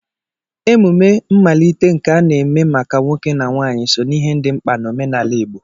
Emume mmalite nke a na-eme maka nwoke na nwanyị, so n'ihe dị mkpa na omenala Igbo.